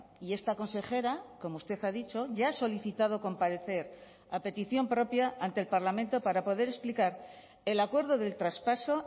y esta consejera como usted ha dicho ya ha solicitado comparecer a petición propia ante el parlamento para poder explicar el acuerdo del traspaso